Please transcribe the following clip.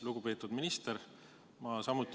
Lugupeetud minister!